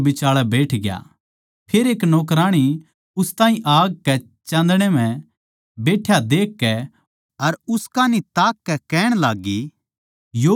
फेर एक नौकराणी उस ताहीं आग कै चाँदणै म्ह बैठ्या देखकै अर उस कान्ही ताककै कहण लाग्गी यो भी तो उसकै गेल्या था